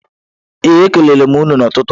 Ee e kelere m ya n'ụtụtụ a